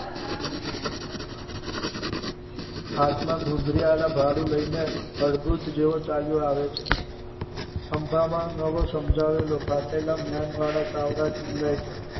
હાથમાં ધુધરી વાળા ભલું લઈને અડધૂત જુએ ચાલ્યા આવે છે ખંભામાં નવ સમજાવેલો ભાગ આપેલા નયન વાડા ટિંગાય છે.